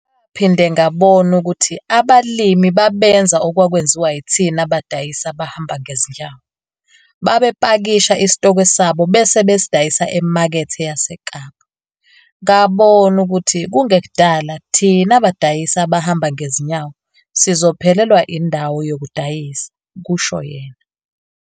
"Ngaphinde ngabona ukuthi abalimi babenza okwakwenziwa yithina badayisi abahamba ngezinyawo - babepakisha isitokwe sabo bese besidayisa eMakethe yaseKapa. Ngabona ukuthi kungekudala thina badayisi abahamba ngezinyawo sizophelelwa indawo yokudayisa, "kusho yena.